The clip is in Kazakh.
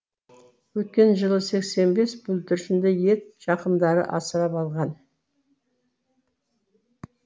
өткен жылы сексен бес бүлдіршінді ет жақындары асырап алған